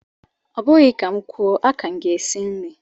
Ọ bụghị ka m kwuo, aka m gị esi nri